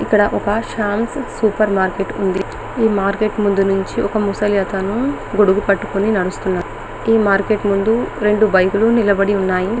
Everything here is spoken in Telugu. ఇక్కడ ఒక శామ్స సూపర్ మార్కెట్ ఉంది ఈ మార్కెట్ ముందు నుండి ఒక ముసలి అతను గొడుగు పట్టుకొని నడుస్తూ ఉన్నాడు ఏ మార్కెట్ ముందు రెండు బైకులు నిలబడి ఉన్నాయి .